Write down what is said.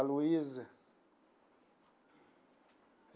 A Luísa.